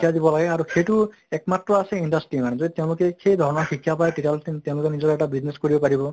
শিকাই দিব লাগে আৰু সেইটো একমাত্ৰ আছে industry মানে যে তেওঁলোকে সেই ধৰণে শিক্ষা পায় তেতিয়াহʼলে তেওঁলোকে নিজৰ এটা business খুলিব পাৰিব